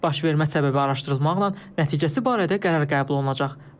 Baş vermə səbəbi araşdırılmaqla nəticəsi barədə qərar qəbul olunacaq.